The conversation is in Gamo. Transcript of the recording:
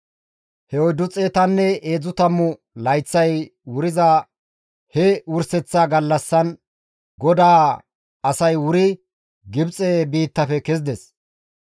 He oyddu xeetanne heedzdzu tammu layththay wuriza he wurseththa gallassan GODAA asay wuri Gibxe biittafe kezides.